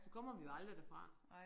Så kommer vi jo aldrig derfra